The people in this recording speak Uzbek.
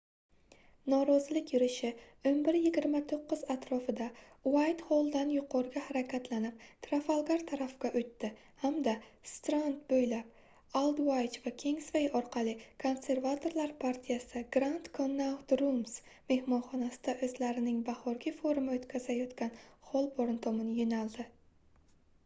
norozilik yurishi 11:29 atrofida uaytxolldan yuqoriga harakatlanib trafalgar tarafga oʻtdi hamda strand boʻylab aldvaych va kingsvay orqali konservatorlar partiyasi grand connaught rooms mehmonxonasida oʻzlarining bahorgi forumini oʻtkazayotgan xolborn tomon yoʻnaldi